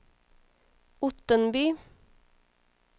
Ottenby